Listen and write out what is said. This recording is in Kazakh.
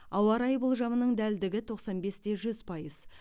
ауа райы болжамының дәлдігі тоқсан бес те жүз пайыз